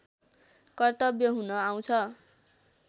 कर्तव्य हुन आउँछ